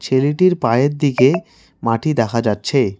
ছেলেটির পায়ের দিকে মাটি দেখা যাচ্ছে।